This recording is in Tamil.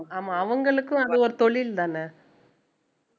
ஆமா அவங்களுக்கும் அது ஒரு தொழில்தானே